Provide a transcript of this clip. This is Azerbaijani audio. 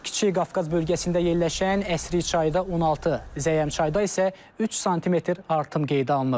Kiçik Qafqaz bölgəsində yerləşən Əsriçayda 16, Zəyəmçayda isə 3 sm artım qeydə alınıb.